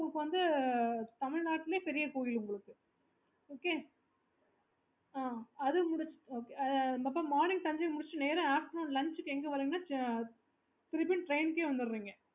இது வந்து Tamilnadu லேயே பெரிய கோவில் okaymorning Thanjavur முடிச்சிட்டு நேரா afternoon lunch எங்க வரோம்ன்னா திரும்ப train க்கு வந்துடறீங்க